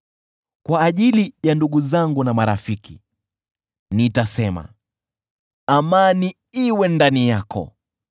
Kwa ajili ya ndugu zangu na marafiki, nitasema, “Amani iwe ndani yako.”